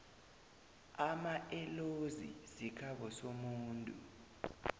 amaellozi sikhabo somuntu